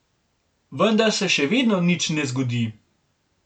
Vendar se še vedno nič ne zgodi.